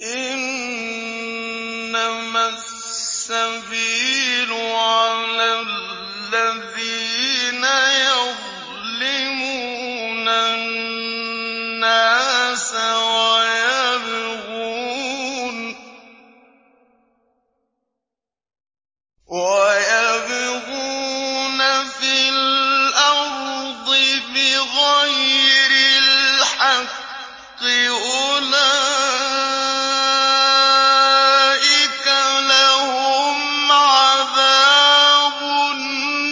إِنَّمَا السَّبِيلُ عَلَى الَّذِينَ يَظْلِمُونَ النَّاسَ وَيَبْغُونَ فِي الْأَرْضِ بِغَيْرِ الْحَقِّ ۚ أُولَٰئِكَ لَهُمْ عَذَابٌ